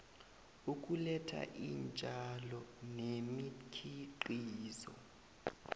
ukuletha iintjalo nemikhiqizo